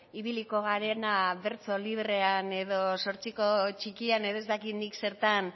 ibiliko garena bertso librean edo zortziko txikian edo ez dakit nik zertan